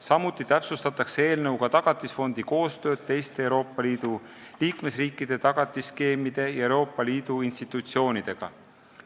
Samuti täpsustatakse eelnõuga Tagatisfondi koostööd teiste Euroopa Liidu liikmesriikide tagatisskeemide ja Euroopa Liidu institutsioonidega.